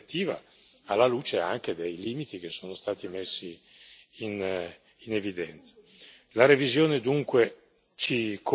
Per questo motivo è molto importante rivedere quella direttiva alla luce anche dei limiti che sono stati messi in evidenza.